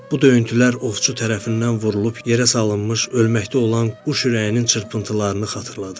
Bu döyüntülər ovçu tərəfindən vurulub yerə salınmış ölməkdə olan quş ürəyinin çırpıntılarını xatırladırdı.